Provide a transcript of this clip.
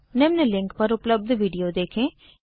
निम्न लिंक पर उपलब्ध वीडियो देखें